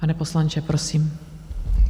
Pane poslanče, prosím.